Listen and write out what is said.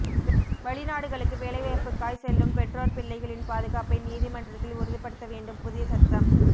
வெளிநாடுகளுக்கு வேலைவாய்புக்காய் செல்லும் பெற்றோர் பிள்ளைகளின் பாதுகாப்பை நீதிமன்றத்தில் உறுதிப்படுத்த வேண்டும் புதிய சட்டம்